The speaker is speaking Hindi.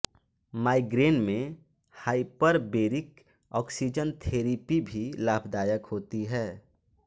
माइग्रेन में हाइपरबेरिक ऑक्सीजन थेरेपी भी लाभदायक होती है